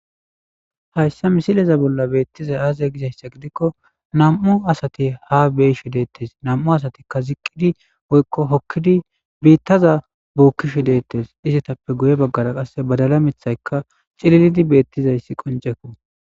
hayssa misileza bolla beettiza aaza gizayssa gidikko nam7u asati ha beyshi dettes nam7u asatikka ziqqidi woykko hokkidi biittaza bookkisho deettes izatappe guye baggara qasse badala mithaykka cililidi beettizayssi qonjeku